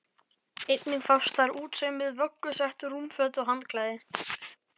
Einnig fást þar útsaumuð vöggusett, rúmföt og handklæði.